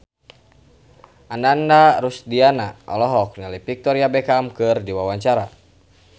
Ananda Rusdiana olohok ningali Victoria Beckham keur diwawancara